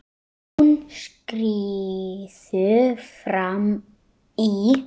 Hún skríður fram í.